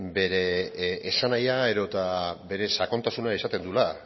bere esanahia edota bere sakontasuna izaten duela